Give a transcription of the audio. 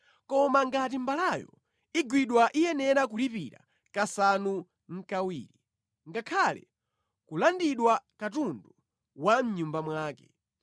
Komabe ngati mbalayo igwidwa iyenera kulipira kasanu nʼkawiri, ngakhale kulandidwa katundu wa mʼnyumba mwake.